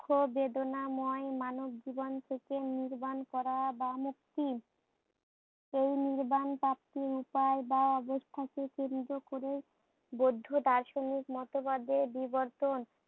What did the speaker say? দুঃখ বেদনাময় মানবজীবন থেকে নির্বাণ করা বা মুক্তি। এই নির্বাণ প্রাপ্তি বৌদ্ধ দার্শনিক মতবাদের বিবর্তন।